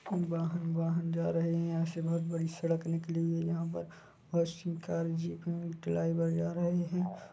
वाहन वाहन जा रहे है यहाँ से बहुत बड़ी सड़क निकली हुई है यहाँ पर बहुत सी कार जीप मे ड्राइवर जा रहे है।